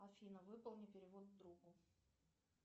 афина выполни перевод другу